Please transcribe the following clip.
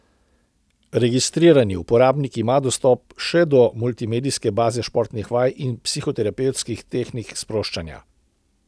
Registrirani uporabnik ima dostop še do multimedijske baze športnih vaj in psihoterapevtskih tehnik sproščanja.